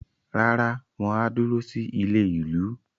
Rárá, wọ́n á dúró sí ilé-ìlú.